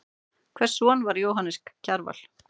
Hvers son var Jóhannes Kjarval?